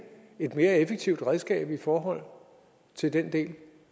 et mere effektivt redskab i forhold til den del